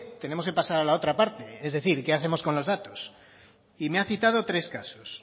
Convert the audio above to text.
tenemos que pasar a la otra parte es decir qué hacemos con los datos y me ha citado tres casos